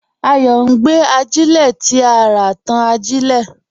Ayọ̀ n gbé àjílẹ̀ tí à rá sọ̀rọ̀ ẹ̀rọ̀ tí n tàn àjílẹ̀.